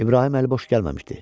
İbrahim əliboş gəlməmişdi.